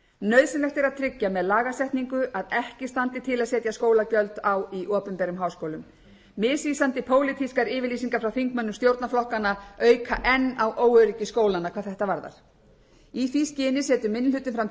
nauðsynlegt er að tryggja með lagasetningu að ekki standi til að setja skólagjöld á í opinberum háskólum misvísandi pólitískar yfirlýsingar frá þingmönnum stjórnarflokkanna auka enn á óöryggi skólanna hvað þetta varðar í því skyni setur minni hlutinn fram